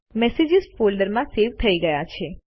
messages ફોલ્ડરમાં save થઇ ગયા છે